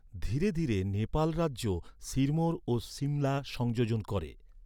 ধীরে ধীরে নেপাল রাজ্য সিরমোর ও সিমলা সংযোজন করে।